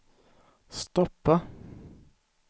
stoppa